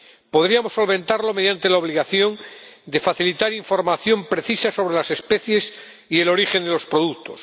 Podríamos solventarlo mediante la obligación de facilitar información precisa sobre las especies y el origen de los productos